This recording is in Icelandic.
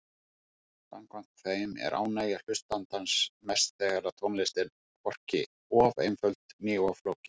Samkvæmt þeim er ánægja hlustandans mest þegar tónlist er hvorki of einföld né of flókin.